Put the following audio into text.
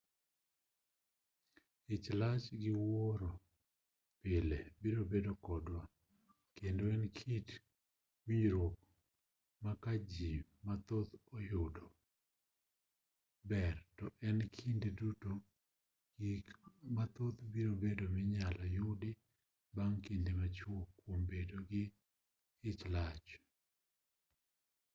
ich lach gi wuoro pile biro bedo kodwa kendo en kit winjruok ma ka ji mathoth oyudo ber to e kinde duto gik mathoth biro bedo minyalo yudi bang' kinde machuok kuom bedo jo ichlach